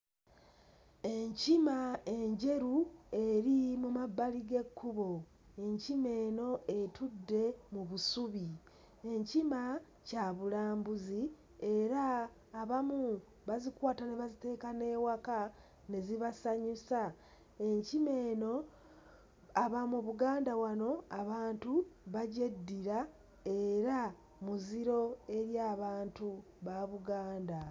Enkima enjeru eri mu mmabbali g'ekkubo, enkima eno etudde mu busubi. Enkima kyabulambuzi era abamu bazikwata ne baziteeka n'ewaka ne zibasanyusa. Enkima eno aba mu Buganda wano abantu bagyeddira era muziro eri abantu ba Buganda.